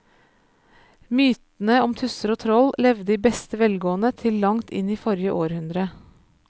Mytene om tusser og troll levde i beste velgående til langt inn i forrige århundre.